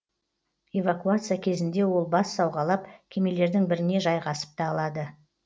эвакуация кезінде ол бас сауғалап кемелердің біріне жайғасып та алады